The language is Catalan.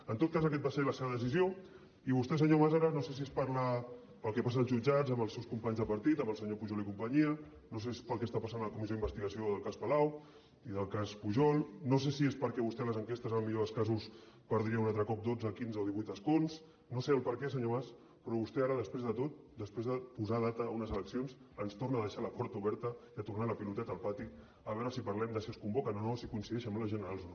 en tot cas aquesta va ser la seva decisió i vostè senyor mas ara no sé si és pel que passa als jutjats amb els seus companys de partit amb el senyor pujol i companyia no sé si és pel que està passant a la comissió d’investigació del cas palau i del cas pujol no sé si és perquè vostè a les enquestes en el millor del casos perdria un altre cop dotze quinze o divuit escons no sé el perquè senyor mas però vostè ara després de tot després de posar data a unes eleccions ens trona a deixar la porta oberta i a tornar la piloteta al pati a veure si parlem de si es convoquen o no si coincideixen amb les generals o no